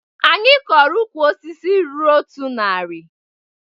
Anyị kọrọ ukwu osisi ruru otu nari